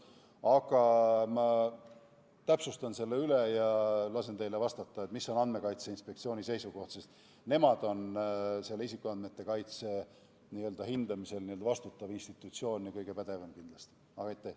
Aga ma täpsustan selle üle ja lasen teile vastata, milline on Andmekaitse Inspektsiooni seisukoht, sest nemad on isikuandmete kaitse hindamisel vastutav institutsioon ja kindlasti kõige pädevam.